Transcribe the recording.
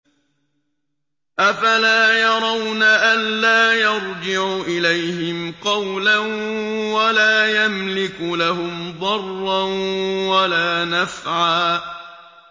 أَفَلَا يَرَوْنَ أَلَّا يَرْجِعُ إِلَيْهِمْ قَوْلًا وَلَا يَمْلِكُ لَهُمْ ضَرًّا وَلَا نَفْعًا